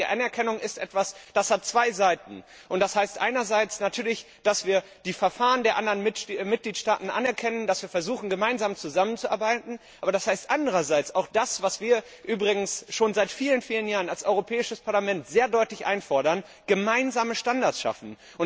Die gegenseitige Anerkennung ist etwas, das zwei Seiten hat Das heißt einerseits natürlich, dass wir die Verfahren der anderen Mitgliedstaaten anerkennen, dass wir versuchen zusammenzuarbeiten, aber das heißt andererseits auch das, was wir übrigens schon seit vielen, vielen Jahren als Europäisches Parlament sehr deutlich einfordern gemeinsame Standards schaffen.